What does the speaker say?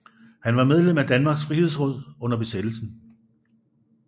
Han var medlem af Danmarks Frihedsråd under besættelsen